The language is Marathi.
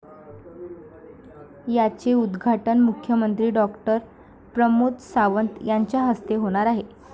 याचे उद्घाटन मुख्यमंत्री डॉ. प्रमोद सावंत यांच्याहस्ते होणार आहे.